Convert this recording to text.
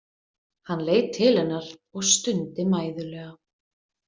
Hann leit til hennar og stundi mæðulega.